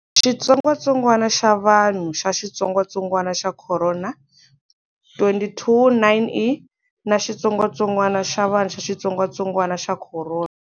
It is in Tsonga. Xitsongwatsongwana xa vanhu xa xitsongatsongwana xa khorona 229E na xitsongwatsongwana xa vanhu xa xitsongatsongwana xa khorona